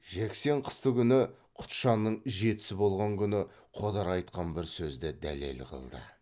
жексен қыстыгүні құтжанның жетісі болған күні қодар айтқан бір сөзді дәлел қылды